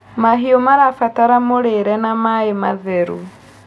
Mahĩũ marabatara mũrĩre na maĩ matherũ